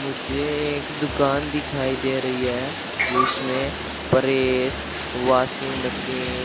मुझे एक दुकान दिखाई दे रही है जिसमें परेश वाशिंग मशीन --